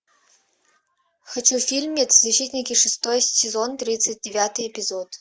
хочу фильмец защитники шестой сезон тридцать девятый эпизод